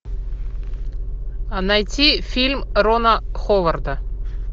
найти фильм рона ховарда